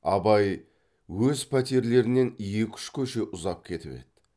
абай өз пәтерлерінен екі үш көше ұзап кетіп еді